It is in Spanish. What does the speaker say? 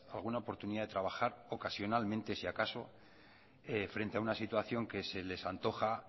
alguna oportunidad de trabajar ocasionalmente si acaso frente a una situación que se les antoja